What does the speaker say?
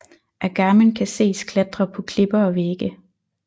Agamen kan ses klatre på klipper og vægge